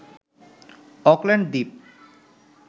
Auckland Dwip